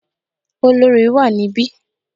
Olorì wà níbí.